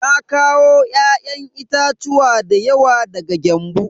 Na kawo ya'yan itatuwa dayawa daga Gembu.